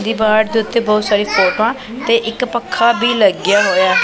ਦੀਵਾਰ ਤੇ ਬਹੁਤ ਸਾਰੀ ਫੋਟੋਆਂ ਤੇ ਇੱਕ ਪੱਖਾ ਵੀ ਲੱਗ ਗਿਆ ਹੋਇਆ।